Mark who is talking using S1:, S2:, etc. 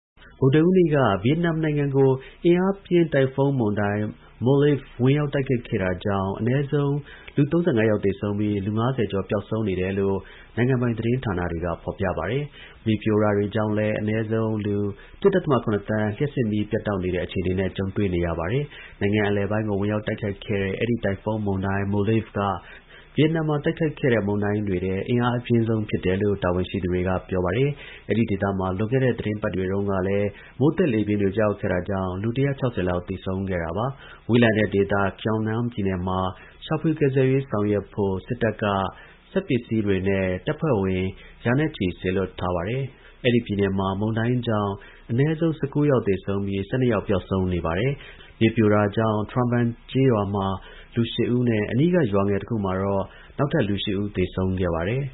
S1: ဗုဒ္ဓဟူးနေ့က ဗီယက်နမ်နိုင်ငံကို အင်အားပြင်းတိုင်ဖုန်းမုန်တိုင်းMolave ဝင်ရောက် တိုက်ခတ်ခဲ့တာကြောင့် အနည်းဆုံးလူ ၃၅ ယောက်သေဆုံးပြီး လူ ၅၀ ကျော်ပျောက်ဆုံးနေတယ်လို့ နိုင်ငံပိုင်သတင်းမှာ ဖော်ပြထားပါတယ်။ မြေပြိုတာတွေကြောင့်လည်း အနည်းဆုံးလူ ၁.၇ သန်း လျှပ်စစ်မီး ပြတ်တောက်နေတဲ့ အခြေအနေနဲ့ ကြုံတွေ့နေရတာပါ။ နိုင်ငံ့အလယ်ပိုင်းကို ဝင်ရောက်တိုက်ခိုက်ခဲ့တဲ့ အဲဒီ တိုင်ဖုန်းမုန်တိုင်း Molave က နှစ်ပေါင်း ၂၀ အတွင်း ဗီယက်နမ်မှာ တိုက်ခတ်ခဲ့တဲ့ မုန်တိုင်းတွေထဲ အင်အားအပြင်းဆုံး ဖြစ်တယ်လို့ တာဝန်ရှိသူတွေက ပြောပါတယ်။ အဲဒီဒေသမှာ လွန်ခဲ့တဲ့ သီတင်းပတ်တွေတုန်းကလည်း မိုးသက်လေပြင်းတွေ ကျရောက်ခဲ့တာကြောင့် လူ ၁၆၀ လောက်သေဆုံးခဲ့တာပါ။ ဝေးလံတဲ့ဒေသ Quang Nam ပြည်နယ်မှာ ရှာဖွေကယ်ဆယ်ရေးဆောင်ရွက်ဖို့ စစ်တပ်က စက်ပစ္စည်းတွေနဲ့ တပ်ဖွဲ့ဝင် ရာနဲ့ ချီ စေ လွှတ်ထားပါတယ်။ အဲဒီပြည်နယ်မှာ မုန်တိုင်းကြောင့် အနည်းဆုံး ၁၉ ယောက်သေဆုံးပြီး ၁၂ ယောက် ပျောက်ဆုံး နေပါတယ်။ မြေပြိုတာကြောင့် Tra Van ကျေးရွာမှ လူ ၈ ဦးနဲ့ အနီးက ရွာငယ်တခုမှာတော့ နောက်ထပ် လူ ၈ ဦး သေဆုံးခဲ့ပါတယ
S2: ်